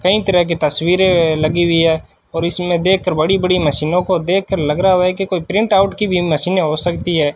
कई तरह की तस्वीरें लगी हुई है और इसमें देख कर बड़ी बड़ी मशीनों को देख कर लग रहा हुआ है कि कोई प्रिंट आउट की भी मशीनें हो सकती है।